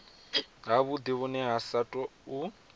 havhudi vhune ha sa tou